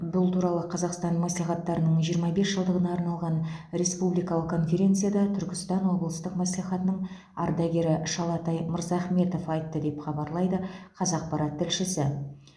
бұл туралы қазақстан мәслихаттарының жиырма бес жылдығына арналған республикалық конференцияда түркістан облыстық мәслихатының ардагері шалатай мырзахметов айтты деп хабарлайды қазақпарат тілшісі